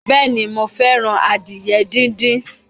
Bẹ́ẹ̀ni mi ò fẹ́ràn adìyẹ díndín.